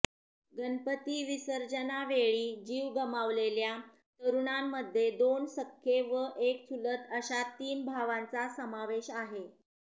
गणपती विसर्जनावेळी जीव गमावलेल्या तरुणांमध्ये दोन सख्खे व एक चुलत अशा तीन भावांचा समावेश आहे